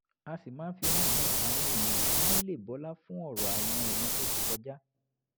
a sì máa ń fi wọ́n han àwọn èèyàn kí wọ́n lè bọlá fún ọ̀rọ̀ àwọn ìran tó ti kọjá